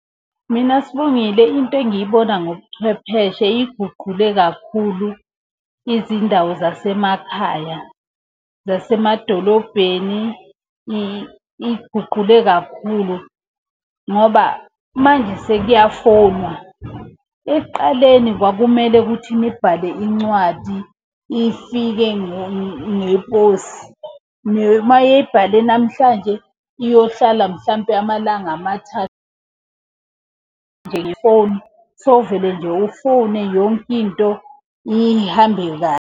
Mina Sibongile into engiyibona ngobuchwepheshe iguqule kakhulu izindawo zasemakhaya. Zasemadolobheni iy'guqule kakhulu ngoba manje sekuyafowunwa. Ekuqaleni kwakumele ukuthi nibhale incwadi ifike ngeposi. Uma eyibhale namhlanje iyohlala mhlampe amalanga . Nje ngefoni, sewuvele nje ufone yonke into ihambe .